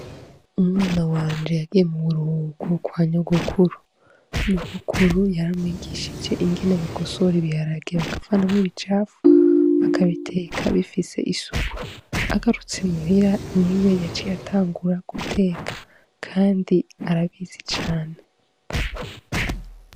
Umwana wanje yagiye mu buruhuko kwa nyogokuru, nyogokuru yaramwigishije ingene bagosora ibiharage bakavanamwo ibicafu bakabiteka bifise isuku, agarutse muhira niwe yaciye atangura guteka kandi arabizi cane.